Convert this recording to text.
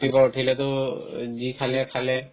ৰাতিপুৱা উঠিলেতো যি খালে খালে